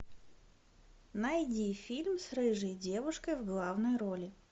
найди фильм с рыжей девушкой в главной роли